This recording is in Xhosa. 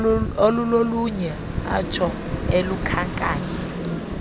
olulolunye atsho elukhankanya